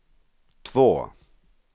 två